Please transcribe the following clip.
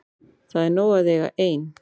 Það er nóg að eiga ein.